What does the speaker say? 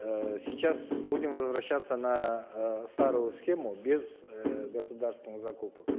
эээ сейчас будем возвращаться на э старую схему без э государственных закупок